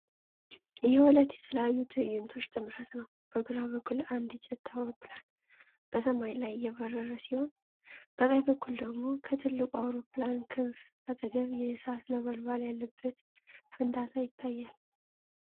የሁለት የተለያዩ ትዕይንቶች ጥምረት ነው። በግራ በኩል አንድ ጀት አውሮፕላን በሰማይ ላይ እየበረረ ሲሆን፤ በቀኝ በኩል ደግሞ ከትልቅ አውሮፕላን ክንፍ አጠገብ የእሳት ነበልባል ያለበት ፍንዳታ ይታያል።